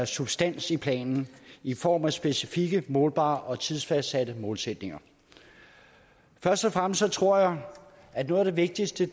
substans i planen i form af specifikke målbare og tidsfastsatte målsætninger først og fremmest tror jeg at noget af det vigtigste